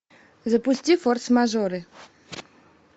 запусти форс мажоры